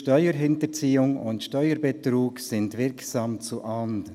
«Steuerhinterziehung und Steuerbetrug sind wirksam zu ahnden.